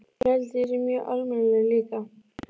Ég held að hann sé mjög almennilegur líka.